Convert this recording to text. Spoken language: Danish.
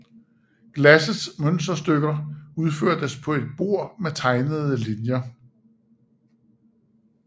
Glassets mønsterstykker udførtes på et bord med tegnede linjer